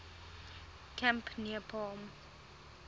camp near palm